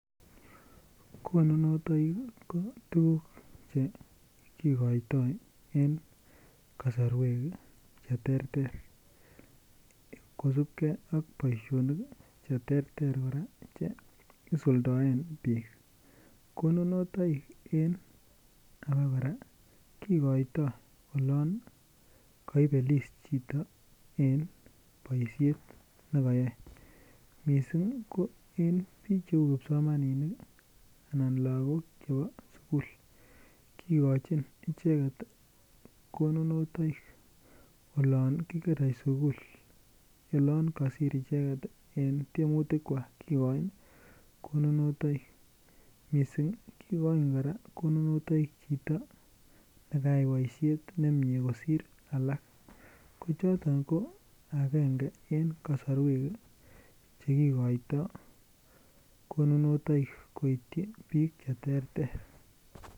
Konunotoikik ko tuguk Che kigoito en kasarwek Che kosubge ak boisionik Che terter kora Che isuldoen bik konunotoikik en abakora kigoito olon kobel is chito en boisiet ne kayae mising ko en bik cheu kipsomaninik anan lagok chebo sukul kigochin icheget konunotoikik olon kigerei sukul oloon kosir icheget en tiemutik kwak mising kigochin konunotoikik chito ne kayai boisiet nemie kosir alak agenge ko noton ko agenge en kasarwek Che kigoito konunotoikik koityi bik Che terter